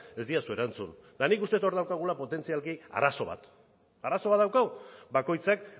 ez didazu erantzun eta nik uste dut hor daukagula potentzialki arazo bat arazo bat daukagu bakoitzak